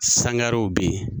Sangarew bɛ yen.